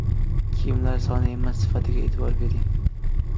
Kiyimlar soni emas, sifatiga e’tibor bering.